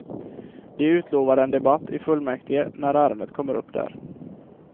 De utlovade en debatt i fullmäktige när ärendet kommer upp där.